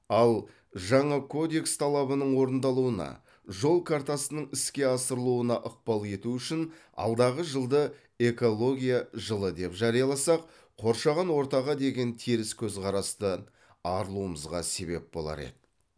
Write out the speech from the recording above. ал жаңа кодекс талабының орындалуына жол картасының іске асырылуына ықпал ету үшін алдағы жылды экология жылы деп жарияласақ қоршаған ортаға деген теріс көзқарасты арылуымызға себеп болар еді